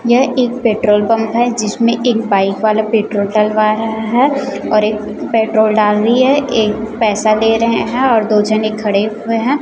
यह एक petrol pump है जिसमें एक बाइक वाला पेट्रोल डलवा रहा है और एक पेट्रोल डाल री है एक पैसा ले रहे हैं और दो झने खड़े हुए हैं।